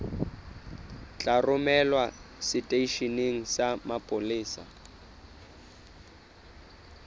tla romelwa seteisheneng sa mapolesa